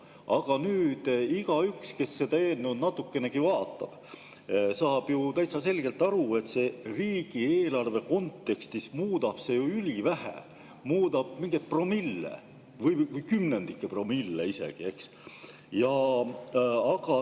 Aga igaüks, kes seda eelnõu natukenegi vaatab, saab ju täitsa selgelt aru, et see riigieelarve kontekstis muudab ülivähe, see muudab mingeid promille või kümnendikpromille isegi, eks.